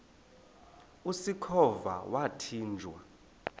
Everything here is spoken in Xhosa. usikhova yathinjw a